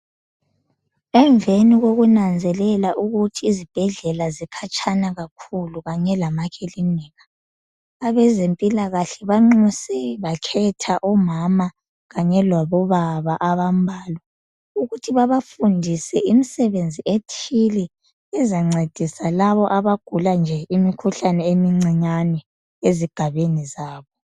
Emveni kokunanzelela ukuthi izibhedlela zikhatshana kakhulu kanye lamakilinika, abezempilakahle banxuse bakhetha omama kanye labo baba abambalwa ukuthi babafundise imsebenzi ethile izancedisa labo abagula nje imikhuhlane emincinyane ezigabeni zabo.